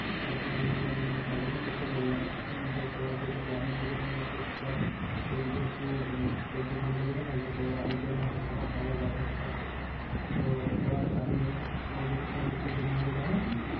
তো সেই অনুযায়ী তার জন্য তোকে বললাম যে তোরা এত গ্রামের দিকে থাকিস সেহতু আর ওইদিকে একটু মানে পোল্ট্রির farm টা বেশি থাকবে তো ওরা ওদেরও ধর খাবার দাবার ব্যবস্থা আছে তো ওরা জানবে তোদের কাছে জেনে একটু আমাকে জানাবি